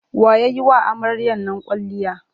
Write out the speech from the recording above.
Wa ya yi wa amaryar nan kwalliya?